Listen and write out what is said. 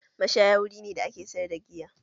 Mashaya wuri ne da ake sayar da giya